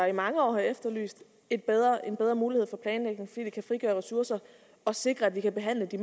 i mange år har efterlyst en bedre en bedre mulighed for planlægning fordi det kan frigøre ressourcer og sikre at vi kan behandle de